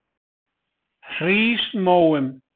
Hrísmóum